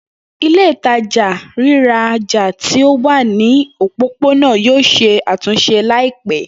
Ile-itaja riraja ti o wa ni opopona yoo ṣe atunṣe laipẹ.